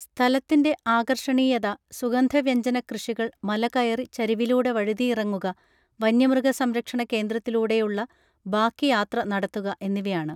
സ്ഥലത്തിൻ്റെ ആകർഷണീയത സുഗന്ധ വ്യജ്ഞന കൃഷികൾ മലകയറി ചരിവിലൂടെ വഴുതിയിറങ്ങുക വന്യമൃഗ സംരക്ഷണ കേന്ദ്രത്തിലൂടെയുള്ള ബാക്കി യാത്ര നടത്തുക എന്നിവയാണ്